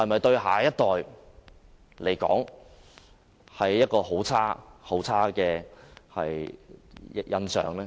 對下一代來說，是否留下很差的印象？